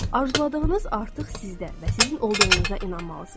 Arzuladığınız artıq sizdə və sizin olduğuna inanmalısınız.